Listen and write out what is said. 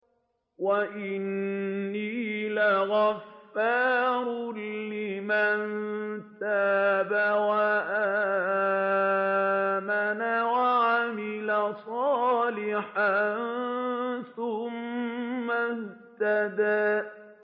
وَإِنِّي لَغَفَّارٌ لِّمَن تَابَ وَآمَنَ وَعَمِلَ صَالِحًا ثُمَّ اهْتَدَىٰ